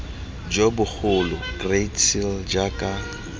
jo bogolo great seal jaaka